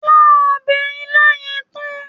Lá ọbè ilá yẹn tán!